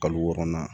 Kalo wɔɔrɔnan